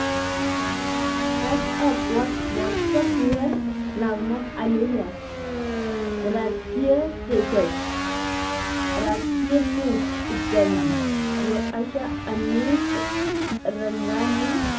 hotswhatsup वर लावण्यात आलेल्या राजकीय status राजकीय quets इत्यादी व अश्या अनेक रंगानी